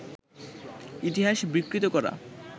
ইতিহাস বিকৃত করা